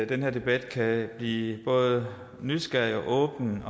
den her debat kan blive både nysgerrig og åben